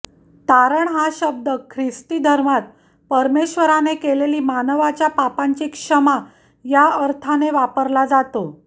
तारण हा शब्द ख्रिस्ती धर्मात परमेश्वराने केलेली मानवाच्या पापांची क्षमा या अर्थाने वापरला जातो